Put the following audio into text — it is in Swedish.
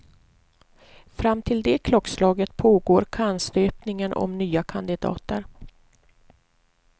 Fram till det klockslaget pågår kannstöpningen om nya kandidater.